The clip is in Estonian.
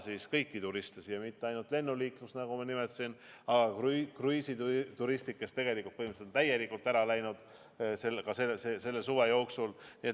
M a ei pea silmas mitte ainult lennuliiklust, mida ma juba nimetasin, vaid ka kruiisituriste, kes põhimõtteliselt on täielikult ära kadunud selle suve jooksul.